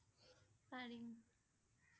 পাৰিম